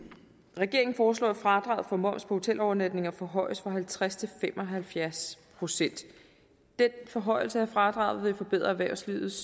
regeringen foreslår at fradraget for moms på hotelovernatninger forhøjes fra halvtreds til fem og halvfjerds procent den forhøjelse af fradraget vil forbedre erhvervslivets